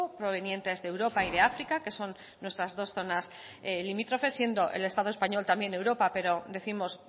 provenientes de europa y de áfrica que son nuestras dos zonas limítrofes siendo el estado español también europa pero décimos